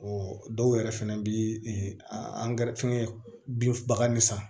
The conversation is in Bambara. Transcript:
dɔw yɛrɛ fɛnɛ bi angɛrɛ fɛngɛ binfibaga ni san